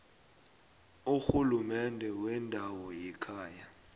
urhulumende wendawo wekhaya